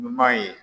Ɲuman ye